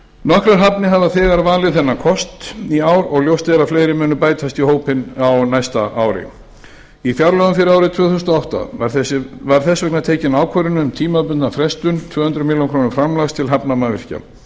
nokkrar hafnir hafa þegar valið þennan kost í ár og ljóst er að fleiri munu bætast í hópinn á næsta ári í fjárlögum fyrir árið tvö þúsund og átta var þess vegna tekin ákvörðun um tímabundna frestun tvö hundruð milljóna króna framlags til hafnarmannvirkja